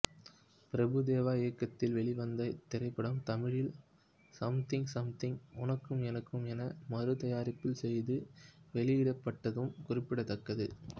பிரபு தேவா இயக்கத்தில் வெளிவந்த இத்திரைப்படம் தமிழில் சம்திங்சம்திங் உனக்கும் எனக்கும் என மறு தயாரிப்பு செய்து வெளியிடப்பட்டதும் குறிப்பிடத்தக்கது